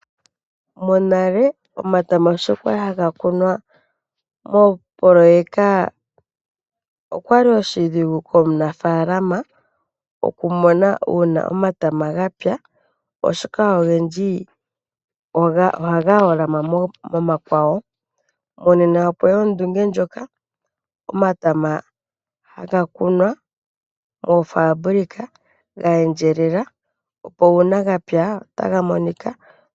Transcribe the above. Monale omatama sho kwali haga kunwa mopoloyeka, okwa li oshidhigu komunaafalama oshoka ogendji ohaga holama momakwawo, monena okweya ondunge ndjoka omatama haga kunwa moofabulika ga endjelela opo uuna ga pya otaga monika.